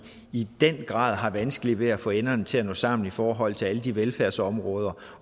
i den grad har vanskeligt ved at få enderne til at nå sammen i alle forhold til alle de velfærdsområder